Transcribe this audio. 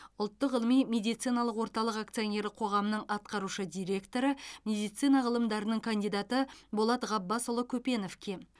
ұлттық ғылыми медициналық орталық акционерлік қоғамының атқарушы директоры медицина ғылымдарының кандидаты болат ғаббасұлы көпеновке